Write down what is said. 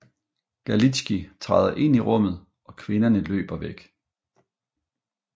Galitzkij træder ind i rummet og kvinderne løber væk